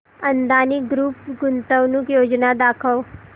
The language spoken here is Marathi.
अदानी ग्रुप गुंतवणूक योजना दाखव